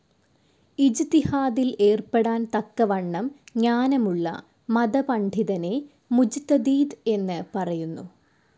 ഇജ്തിഹാദിൽ ഏർപ്പെടാൻ തക്കവണ്ണം ജ്ഞാനമുള്ള മത പണ്ഡിതനെ മുജ്തദീദ് എന്ന് പറയുന്നു.